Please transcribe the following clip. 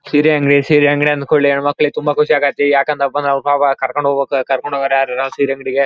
ಸೀರೆ ಅಂಗಡಿ ಸೀರೆ ಅಂಗಡಿ ಅಂದ ಕೂಡಲೇ ಹೆಣ್ಮಕ್ಕಳಿಗೆ ತುಂಬಾ ಖುಷಿ ಆಗುತ್ತೆ ಯಾಕಂದ್ರಪ್ಪಾ ನಾವು ಪಾಪ ಕರ್ಕೊಂಡು ಹೋಗ್ಬೇಕು ಕರ್ಕೊಂಡು ಹೋಗೋರು ಯಾರು ಇರಲ ಸೀರೆ ಅಂಗಡಿಗೆ .